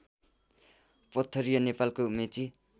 पथरिया नेपालको मेची